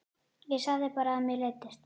Ég sagði bara að mér leiddist.